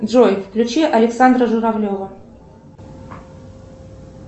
джой включи александра журавлева